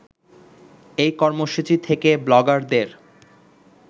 এই কর্মসূচি থেকে ব্লগারদের